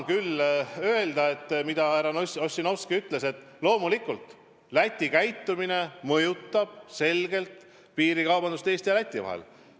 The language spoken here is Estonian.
Aga nagu ka härra Ossinovski ütles, loomulikult Läti käitumine mõjutab selgelt piirikaubandust Eesti ja Läti vahel.